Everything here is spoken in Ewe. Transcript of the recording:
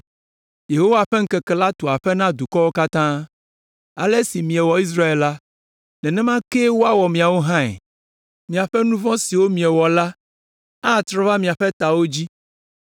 “Yehowa ƒe ŋkeke la tu aƒe na dukɔwo katã. Ale si miewɔ Israel la, nenema kee woawɔ miawo hãe. Miaƒe nu vɔ̃ siwo miewɔ la atrɔ ava miaƒe tawo dzi.